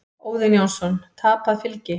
Óðinn Jónsson: Tapað fylgi.